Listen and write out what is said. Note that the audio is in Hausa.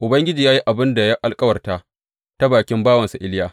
Ubangiji ya yi abin da ya alkawarta ta bakin bawansa Iliya.